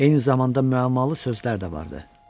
Eyni zamanda müəmmalı sözlər də vardı.